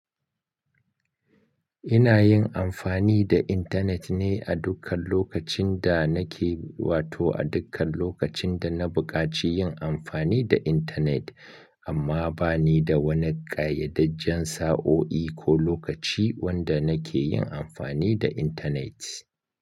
Ina yin amfani da intanet ne a dukkan lokacin da nake, wato a dukkan lokacin da na buƙaci yin amfani da intanet, amma ba ni da wani ƙayyadajjen sa'o'i ko lokaci wanda nake yin amfani da intanet.